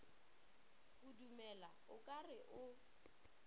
kudumela o ka re o